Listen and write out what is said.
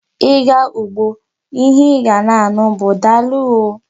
Ị ga ugbo, ihe ị ga na-anụ bụ daalụ oo.